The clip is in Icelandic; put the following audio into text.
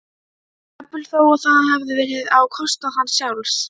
jafnvel þó að það hefði verið á kostnað hans sjálfs.